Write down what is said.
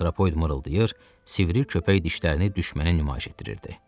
Antropoid mırıltıydı, sivri köpək dişlərini düşmənə nümayiş etdirirdi.